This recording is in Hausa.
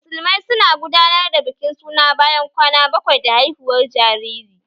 Musulmai su na gudanar da bikin suna bayan kwana bakwai da haihuwar jariri